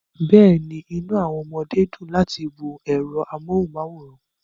Bẹ́ẹ̀ni, inú àwọn ọmọdé dùn láti wo ẹ̀rọ amóhùnmáwòrán